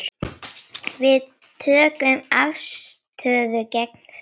Við tökum afstöðu gegn því.